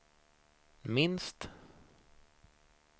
minst